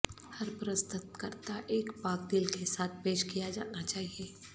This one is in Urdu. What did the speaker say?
ہر پرستتکرتا ایک پاک دل کے ساتھ پیش کیا جانا چاہئے